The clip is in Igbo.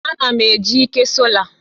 Ana m eji ike sola